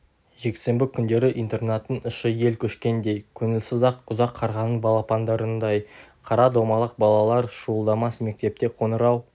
жексенбі күндері интернаттың іші ел көшкендей көңілсіз-ақ ұзақ қарғаның балапандарындай қара домалақ балалар шуылдамас мектепте қоңырау